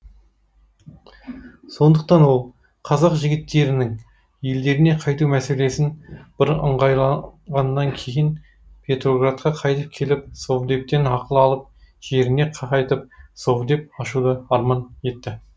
сондықтан ол қазақ жігіттерінің елдеріне қайту мәселесін бір ыңғайлағаннан кейін петроградқа қайтып келіп совдептен ақыл алып жеріне қайтып совдеп ашуды арман етті